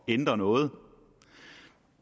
ændre noget